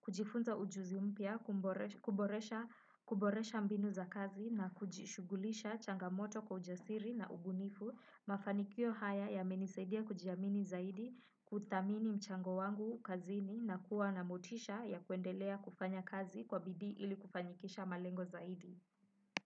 kujifunza ujuzi mpya, kuboresha mbinu za kazi na kujishughulisha changamoto kwa ujasiri na ubunifu. Mafanikio haya yamenisaidia kujiamini zaidi kuthamini mchango wangu kazini na kuwa na motisha ya kuendelea kufanya kazi kwa bidii ili kufanyikisha malengo zaidi.